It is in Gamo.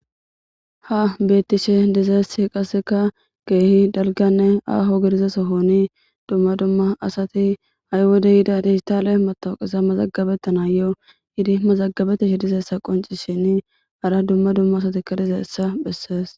Ha beettishe dizeessi qasseka geehi dalganne aaho girizesohoni dumma dumma asati ha'y wode yida dihistaale matawuqisa mazagabetta naayyo yidi mazagabetishe dizeessa qonci shin hara dumma dumma asatika dizeessa bhessees.